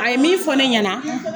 A ye min fɔ ne ɲɛna